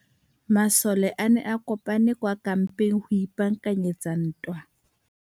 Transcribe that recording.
Masole a ne a kopane kwa kampeng go ipaakanyetsa ntwa.